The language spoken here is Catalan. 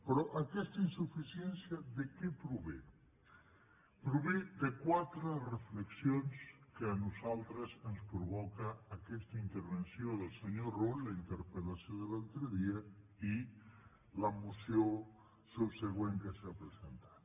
però aquesta insuficiència de què prové prové de quatre reflexions que a nosaltres ens provoca aquesta intervenció del senyor rull la interpel·lació de l’altre dia i la moció subsegüent que s’ha presentat